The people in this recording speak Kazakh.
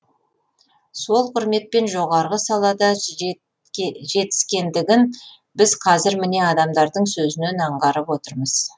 сол құрметпен жоғары салада жетіскендігін біз қазір міне адамдардың сөзінен аңғарып отырмыз